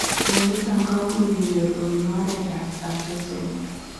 Mionitok komuuch kenyoor kobunuu oreet ap atosomol.